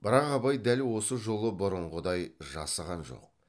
бірақ абай дәл осы жолы бұрынғыдай жасыған жоқ